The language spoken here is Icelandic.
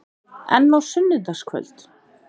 En á sunnudagskvöld?